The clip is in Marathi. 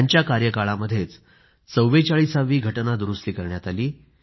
त्यांच्या कार्यकाळामध्येच 44 वी घटना दुरूस्ती करण्यात आली